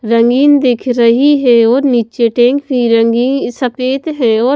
जमीन दिख रही है और नीचे टैंक भी रंगी सफेद है और--